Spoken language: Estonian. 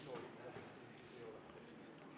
Tere päevast, austatud Riigikogu!